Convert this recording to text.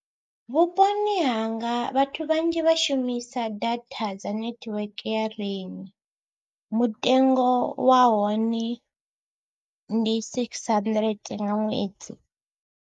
Vhuponi hanga vhathu vhanzhi vha shumisa data dza netiweke ya Rain, mutengo wa hone ndi six hundred nga ṅwedzi.